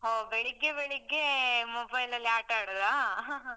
ಹೋ, ಬೆಳಿಗ್ಗೆ ಬೆಳಿಗ್ಗೆ mobile ಅಲ್ಲಿ ಆಟ ಆಡುದಾ?